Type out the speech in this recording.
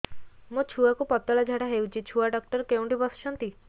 ମୋ ଛୁଆକୁ ପତଳା ଝାଡ଼ା ହେଉଛି ଛୁଆ ଡକ୍ଟର କେଉଁଠି ବସୁଛନ୍ତି